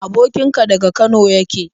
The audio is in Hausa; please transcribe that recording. Abokin ka daga Kano yake?